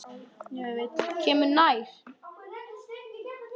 Kemur nær.